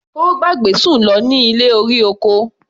Ó gbàgbé Sùn lọ ní ilé-orí-oko.